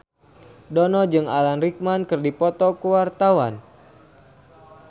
Dono jeung Alan Rickman keur dipoto ku wartawan